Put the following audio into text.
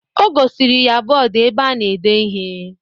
O gosiri ya bọọdu ebe a na-ede ihe.